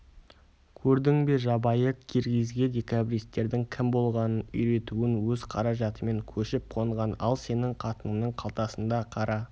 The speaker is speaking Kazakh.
көрдің бе жабайы киргизге декабристердің кім болғанын үйретуін өз қаражатымен көшіп-қонған ал сенің қатыныңның қалтасында қара